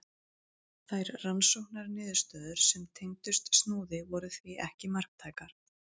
Þær rannsóknarniðurstöður sem tengdust Snúði voru því ekki marktækar.